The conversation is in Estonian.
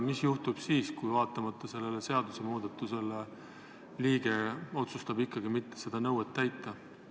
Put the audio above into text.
Mis juhtub siis, kui vaatamata sellele seadusemuudatusele otsustab liige ikkagi seda nõuet mitte täita?